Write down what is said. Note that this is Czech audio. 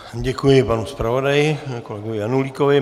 Děkuji panu zpravodaji kolegovi Janulíkovi.